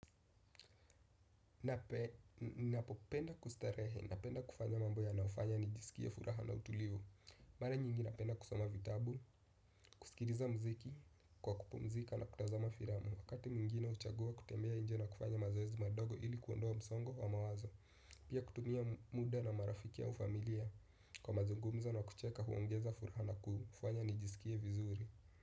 Napopenda kustarehe, napenda kufanya mambo yanayofanya nijisikia furaha na utulivu. Mara nyingi napenda kusoma vitabu, kuskiliza mziki kwa kupumzika na kutazama filamu. Wakati mwingine huchagua kutembea nje na kufanya mazoezi madogo ili kuondoa msongo wa mawazo. Pia kutumia muda na marafiki au familia kwa mazungumzo na kucheka huongeza furaha na kufanya nijisikie vizuri.